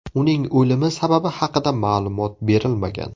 Uning o‘limi sababi haqida ma’lumot berilmagan.